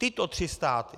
Tyto tři státy.